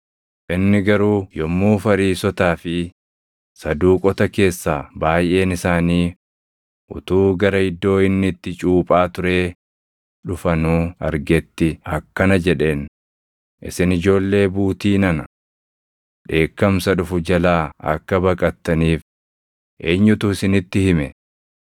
Inni garuu yommuu Fariisotaa fi Saduuqota keessaa baayʼeen isaanii utuu gara iddoo inni itti cuuphaa turee dhufanuu argetti akkana jedheen; “Isin ijoollee buutii nana! Dheekkamsa dhufu jalaa akka baqattaniif eenyutu isinitti hime?